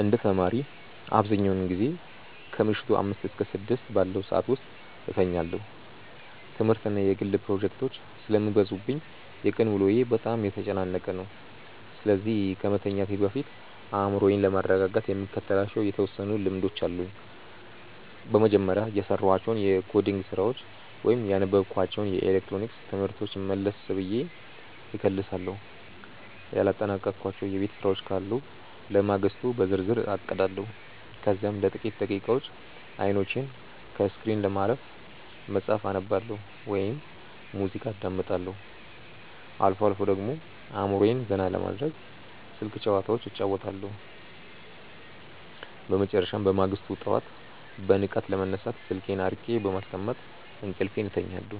እንደ ተማሪ፣ አብዛኛውን ጊዜ ከምሽቱ አምስት እስከ ስድስት ባለው ሰዓት ውስጥ እተኛለሁ። ትምህርትና የግል ፕሮጀክቶች ስለሚበዙብኝ የቀን ውሎዬ በጣም የተጨናነቀ ነው፤ ስለዚህ ከመተኛቴ በፊት አእምሮዬን ለማረጋጋት የምከተላቸው የተወሰኑ ልምዶች አሉኝ። በመጀመሪያ፣ የሰራኋቸውን የኮዲንግ ስራዎች ወይም ያነበብኳቸውን የኤሌክትሮኒክስ ትምህርቶች መለስ ብዬ እከልሳለሁ። ያላጠናቀቅኳቸው የቤት ስራዎች ካሉ ለማግስቱ በዝርዝር አቅዳለሁ። ከዚያም ለጥቂት ደቂቃዎች አይኖቼን ከስክሪን ለማረፍ መጽሐፍ አነባለሁ ወይም ሙዚቃ አዳምጣለሁ። አልፎ አልፎ ደግሞ አእምሮዬን ዘና ለማድረግ ስልክ ጭዋታዎች እጫወታለሁ። በመጨረሻም፣ በማግስቱ ጠዋት በንቃት ለመነሳት ስልኬን አርቄ በማስቀመጥ እንቅልፌን እተኛለሁ።